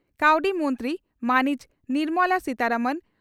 ᱠᱟᱹᱣᱰᱤ ᱢᱚᱱᱛᱨᱤ ᱢᱟᱹᱱᱤᱡ ᱱᱤᱨᱢᱚᱞᱟ ᱥᱤᱛᱟᱨᱚᱢᱚᱱ